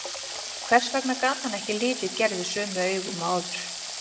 Hvers vegna gat hann ekki litið Gerði sömu augum og áður?